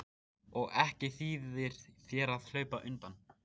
Og ekki þýðir þér að hlaupa undan.